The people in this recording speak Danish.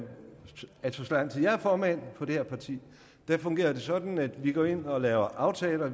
er formand for det her parti fungerer det sådan at vi går ind og laver aftaler